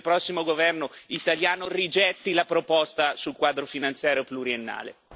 Spero che il prossimo governo italiano rigetti la proposta sul quadro finanziario pluriennale.